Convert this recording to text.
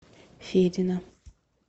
федина